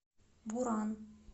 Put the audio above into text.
буран